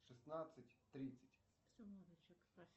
шестнадцать тридцать